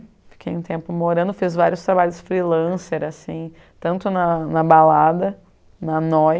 Fiquei um tempo morando, fiz vários trabalhos freelancer assim, tanto na na balada, na Moi,